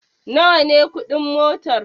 Nawa ne kuɗin motar?